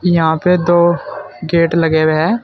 यहां पे दो गेट लगे हुए हैं।